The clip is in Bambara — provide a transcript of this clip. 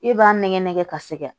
E b'a nɛgɛn nɛgɛn ka sɛgɛn